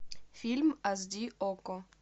фильм аш ди окко